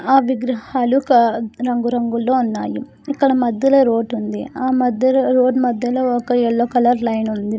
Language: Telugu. ఆ విగ్రహాలు ఒక రంగు రంగుల్లో ఉన్నాయి ఇక్కడ మధ్యలో రోడ్ ఉంది ఆ రోడ్ మధ్యలో ఒక ఎల్లో కలర్ లైన్ ఉంది.